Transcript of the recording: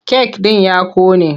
Kek ɗin ya ƙone.